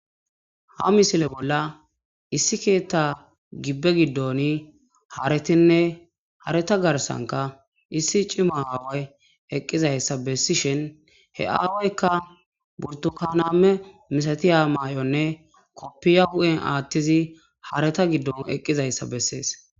Ga misile bolla issi keetta gibbe giddoni haaretinne hareta garsanka issi cima aaway eqqizayssa bessishin he aawaykka burdu kaname misatiya maay'onne koppiya hu'en aattizi hareta giddon eqqizayssa bessees